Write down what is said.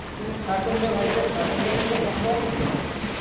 কিন্তু খাটনি রে ভাই সেই খাটনি থেকে তো কমব আমি